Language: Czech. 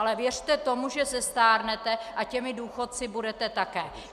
Ale věřte tomu, že zestárnete a těmi důchodci budete také.